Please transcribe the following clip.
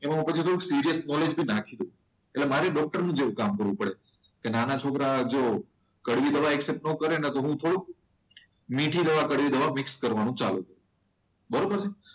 એમાં પછી હું સિરિયસ નોલેજ બી નાખી દઉં એટલે મારે ડોક્ટરની જેવું કામ કરવું પડે કે નાના છોકરા જો કડવી દવા એક્સેપ્ટ ના કરે નહીં તો થોડુંક મીઠી દવા કડવી દવા મિક્સ કરી ચાલો બરોબર છે.